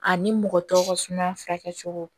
Ani mɔgɔ tɔw ka suma cogo